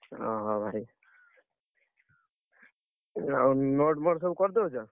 ଅହ! ଭାଇ, ଆଉ note ଫୋଟ ସବୁ କରିଦଉଛ?